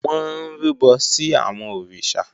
Wọ́n ń rúbọ sí àwọn òrìṣà